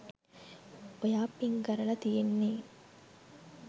ඔයා පින්ග් කරල තියෙන්නේ